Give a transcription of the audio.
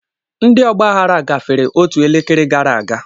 Ndị ọgba aghara gafere otu elekere gara aga.